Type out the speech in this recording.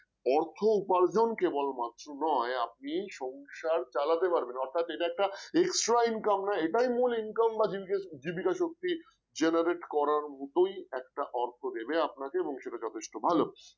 অর্থ উপার্জন কেবলমাত্র নয় আপনি সংসার চালাতে পারবেন অর্থাৎ সেটা একটা extra income না এটাই মূল income বা জীব জীবিকা শক্তি যে generate করার মতোই একটা অর্থ দেবে আপনাকে এবং সেটা যথেষ্ট ভালো